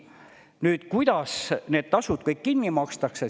Nüüd, kuidas need tasud kõik kinni makstakse?